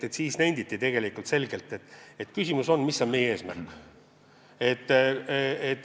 Ja siis nenditi tegelikult selgelt, et küsimus on, mis on meie eesmärk.